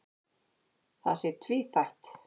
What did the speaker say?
Það sé tvíþætt.